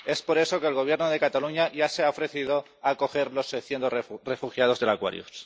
Por eso, el Gobierno de Cataluña ya se ha ofrecido a acoger a los 600 refugiados del Aquarius.